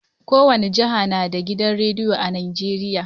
Kowane jiha na da gidan rediyo a Nijeriya.